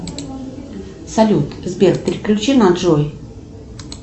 салют сбер переключи на джой